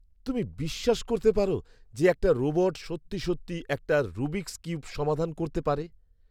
তুমি বিশ্বাস করতে পারো যে, একটা রোবট সত্যি সত্যি একটা রুবিকস্ কিউব সমাধান করতে পারে?